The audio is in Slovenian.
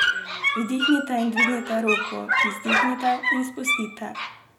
Vdihnite in dvignite roke, izdihnite in spustite.